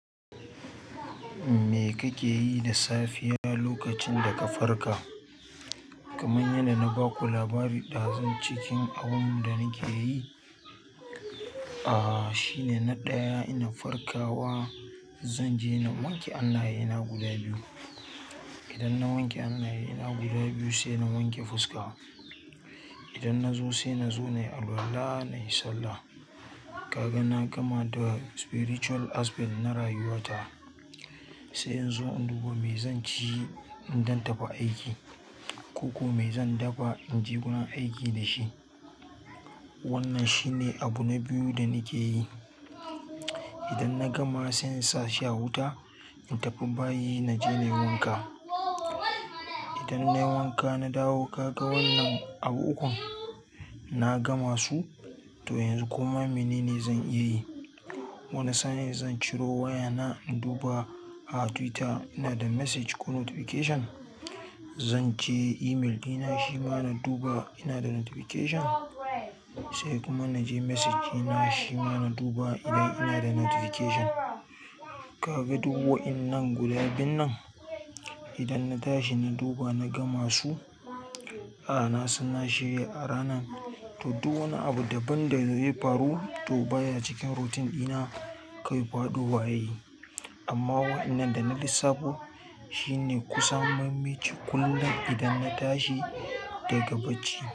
Me kake yi da safiya lokacin da ka farka? Kamar yadda na ba ku labari ɗazu cikin abin da nake yi, ah shine na ɗaya ina farkawa, zan je na wanke hannaye ina guda biyu. Idan na wanke hannaye ina guda biyu sai na wanke fuska. Idan na zo sai na zo na yi alwala, na yi sallah. Ka ga na gama da spiritual aspect na rayuwata. Sai in zo in duba me zan ci idan zan tafi aiki, ko kuma me zan dafa in je gurin aiki da shi. Wannan shine abu na biyu da nake yi. Idan na gama sai in sa shi a wuta, in tafi bayi na je na yi wanka. Idan nayi wanka na dawo kaga wannan abu ukun na gama su to yanzu kuma mene ne zan iya yi. Wani sani zan ciro wayana in duba a Twitter ina da message ko notification. Zan je email ɗina shi ma na duba ina da notification. Sai kuma na je message ɗina shi ma na duba idan ina da notification. Ka ga duk waɗannan guda biyun nan idan na tashi na duba na gama su, ah na sanna shirya a rana. To duk wani abu daban da zai faru to baya cikin routine ɗina kawai faɗowa yayi amma wa'innan da na lissafo shine kusan mafi muhimmanci kullum idan na tashi daga bacci.